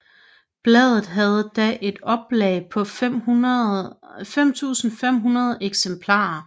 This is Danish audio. Bladet havde da et oplag på 5500 eksemplarer